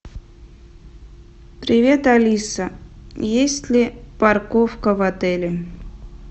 привет алиса есть ли парковка в отеле